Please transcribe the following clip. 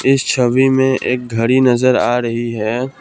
इस छवि में एक घड़ी नजर आ रही है।